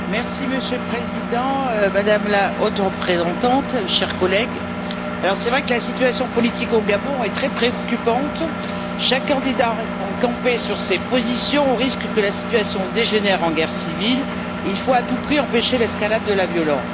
Monsieur le Président, Madame la Haute représentante, chers collègues, il est vrai que la situation politique au Gabon est très préoccupante, chaque candidat restant campé sur ses positions au risque que la situation dégénère en guerre civile. Il faut à tout prix empêcher l'escalade de la violence.